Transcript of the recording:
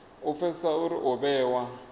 u pfesesa uri u vhewa